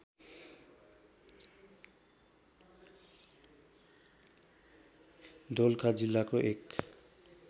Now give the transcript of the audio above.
दोलखा जिल्लाको एक